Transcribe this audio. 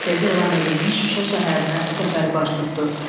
mərkəzi elan edilmiş Şuşa şəhərinə səfəri baş tutdu.